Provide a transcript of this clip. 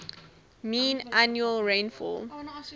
mean annual rainfall